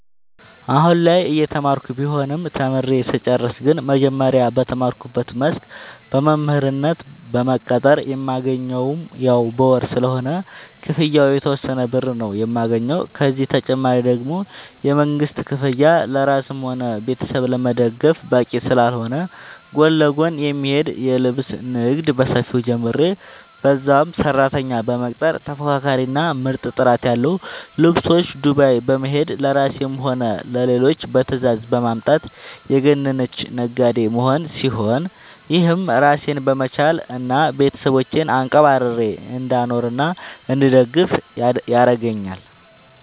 አሁላይ እየተማርኩ ቢሆንም ተምሬ ስጨርስ ግን መጀመሪያ በተማርኩበት መስክ በመምህርነት በመቀጠር የማገኘውም ያው በወር ስለሆነ ክፍያው የተወሰነ ብር ነው የማገኘው፤ ከዚህ ተጨማሪ ደግሞ የመንግስት ክፍያ ለራስም ሆነ ቤተሰብ ለመደገፍ በቂ ስላልሆነ ጎን ለጎን የሚሄድ የልብስ ንግድ በሰፊው ጀምሬ በዛም ሰራተኛ በመቅጠር ተፎካካሪ እና ምርጥ ጥራት ያለው ልብሶች ዱባይ በመሄድ ለራሴም ሆነ ለሌሎች በትዛዝ በማምጣት የገነነች ነጋዴ መሆን ሲሆን፤ ይህም ራሴን በመቻል እና ቤተሰቦቼን አንቀባርሬ እንዳኖርናእንድደግፍ ያረገአኛል።